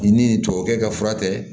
I ni tubabukɛ ka fura tɛ